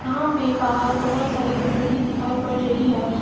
यहां पे बाहर बहुत सारी गंदगी दिखाई पड़ रही है।